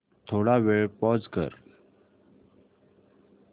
थोडा वेळ पॉझ कर